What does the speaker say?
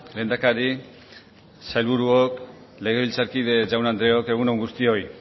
lehendakari sailburuok legebiltzarkide jaun andreok egun on guztioi